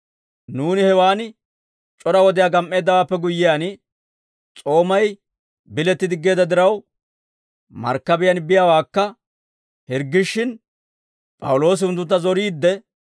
Nuuni hewaan c'ora wodiyaa gam"eeddawaappe guyyiyaan, S'oomay biletti diggeedda diraw, markkabiyaan biyaawekka hirggishshin P'awuloosi unttuntta zoriidde,